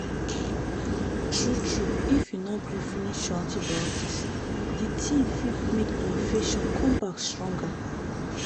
true true if you no gree finish your antibiotics the thing fig make the infections come back stronger